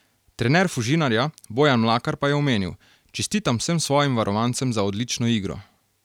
Trener Fužinarja Bojan Mlakar pa je omenil: "Čestitam vsem svojim varovancem za odlično igro.